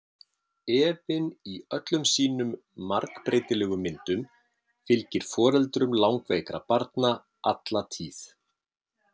Efinn í öllum sínum margbreytilegu myndum fylgir foreldrum langveikra barna alla tíð.